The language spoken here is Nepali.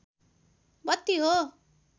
बत्ती हो